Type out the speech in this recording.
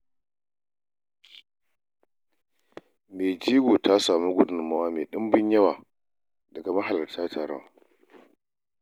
Mai jego ta samu gudummawa mai ɗimbin yawa daga mahalarta taron suna.